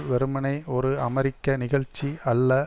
வெறுமனே ஒரு அமெரிக்க நிகழ்ச்சி அல்ல